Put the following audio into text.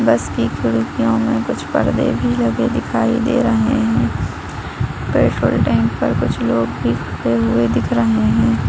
बस की खिड़कियों में कुछ पर्दे भी लगे दिखाई दे रहे हैं। पेट्रोल टैंक पर कुछ लोग भी हुए दिख रहे हैं।